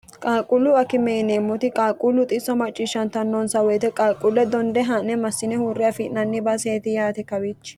qaalquullu akime yineemmoti qaaquullu xisso macciishshantannonsa woyite qaquulle donde haa'ne massine huurre afi'nanni baaseeti yaate kawichi